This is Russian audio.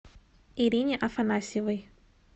ирине афанасьевой